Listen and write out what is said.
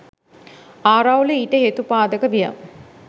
ආරවුල ඊට හේතුපාදක විය.